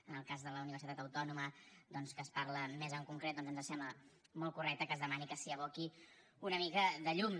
en el cas de la universitat autònoma doncs que se’n parla més en concret doncs ens sembla molt correcte que es demani que s’hi aboqui una mica de llum